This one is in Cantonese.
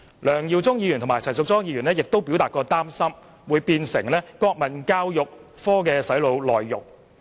梁耀忠議員和陳淑莊議員則擔心中史科會變成國民教育科的"洗腦"內容。